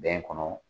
Bɛn kɔnɔ